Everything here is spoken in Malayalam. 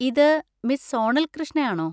ഇത് മിസ്‌ സോണൽ കൃഷ്ണ ആണോ?